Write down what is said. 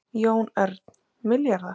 Jón Örn: Milljarðar?